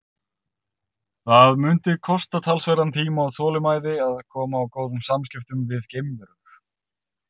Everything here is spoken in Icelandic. Það mundi kosta talsverðan tíma og þolinmæði að koma á góðum samskiptum við geimverur.